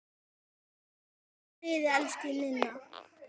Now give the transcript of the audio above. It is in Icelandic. Far í friði, elsku Ninna.